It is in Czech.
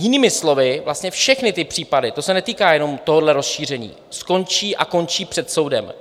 Jinými slovy, vlastně všechny ty případy - to se netýká jenom tohoto rozšíření - skončí a končí před soudem.